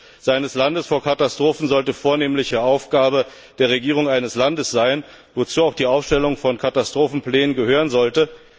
Der Schutz eines Landes vor Katastrophen sollte vornehmliche Aufgabe der Regierung eines Landes sein, wozu auch die Aufstellung von Katastrophenplänen gehören sollte.